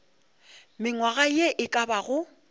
mengwaga ye e ka bago